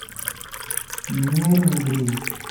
нерюнгри